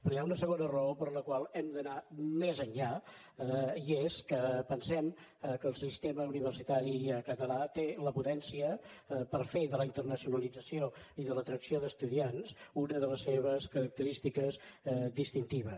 però hi ha una segona raó per la qual hem d’anar més enllà i és que pensem que el sistema universitari català té la potència per fer de la internacionalització i de l’atracció d’estudiants una de les seves característiques distintives